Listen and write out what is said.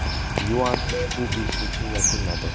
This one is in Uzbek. Yuan ushbu beshlikni yakunladi.